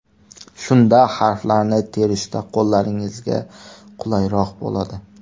Shunda harflarni terishda qo‘llaringizga qulayroq bo‘ladi.